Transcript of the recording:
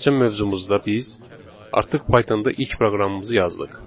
Keçən mövzumuzda biz artıq Pythonda ilk proqramımızı yazdıq.